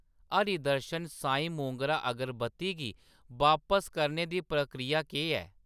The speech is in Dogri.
हरि दर्शन सांई मोगरा अगरबत्ती गी बापस करने दी प्रक्रिया केह् ऐ ?